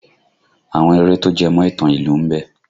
Àwọn eré tó jẹmọ̀ ìtàn ìlú ń bẹ